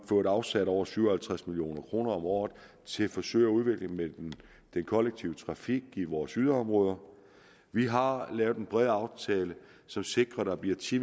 fået afsat over syv og halvtreds million kroner om året til forsøg med udvikling af den kollektive trafik i vores yderområder vi har lavet en bred aftale som sikrer at der bliver ti